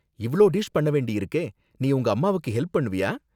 இவ்ளோ டிஷ் பண்ண வேண்டியிருக்கே, நீ உங்க அம்மாவுக்கு ஹெல்ப் பண்ணுவியா?